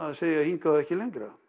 að segja hingað og ekki lengra